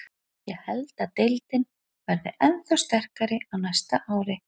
Ég held að deildin verði ennþá sterkari á næsta ári.